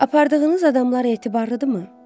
Apardığınız adamlar etibarlıdırımı?